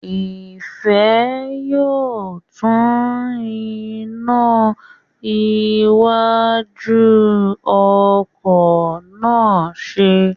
Ìfẹ́ yóò tún iná iwájú ọkọ̀ náà ṣe